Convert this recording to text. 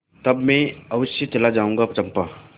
तब मैं अवश्य चला जाऊँगा चंपा